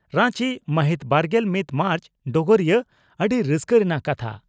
ᱨᱟᱸᱪᱤ ᱢᱟᱦᱤᱛ ᱵᱟᱨᱜᱮᱞ ᱢᱤᱛ ᱢᱟᱨᱪ (ᱰᱚᱜᱚᱨᱤᱭᱟᱹ) ᱺ ᱟᱹᱰᱤ ᱨᱟᱹᱥᱠᱟᱹ ᱨᱮᱱᱟᱜ ᱠᱟᱛᱷᱟ